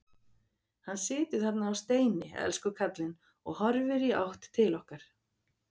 Hann situr þarna á steini, elsku kallinn, og horfir í átt til okkar.